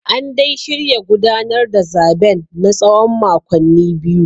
An dai shirya gudanar da zaben na tsawon makonni biyu